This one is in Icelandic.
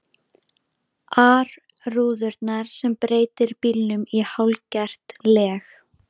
ar rúðurnar sem breytir bílnum í hálfgert leg.